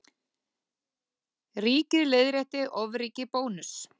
Ríkið leiðrétti ofríki Bónuss